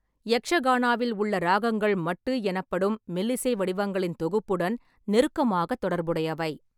யக்ஷகானாவில் உள்ள ராகங்கள் மட்டு எனப்படும் மெல்லிசை வடிவங்களின் தொகுப்புடன் நெருக்கமாக தொடர்புடையவை.